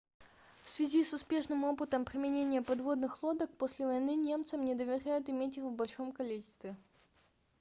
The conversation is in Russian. в связи с успешным опытом применения подводных лодок после войны немцам не доверяют иметь их в большом количестве